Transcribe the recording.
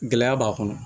Gɛlɛya b'a kɔnɔ